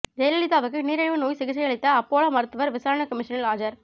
ஜெயலலிதாவுக்கு நீரிழிவு நோய் சிகிச்சையளித்த அப்பல்லோ மருத்துவர் விசாரணை கமிஷனில் ஆஜர்